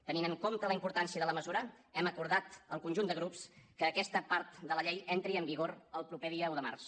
tenint en compte la importància de la mesura hem acordat el conjunt de grups que aquesta part de la llei entri en vigor el proper dia un de març